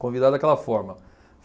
Convidado daquela forma.